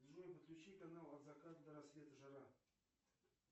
джой подключи канал от заката до рассвета жара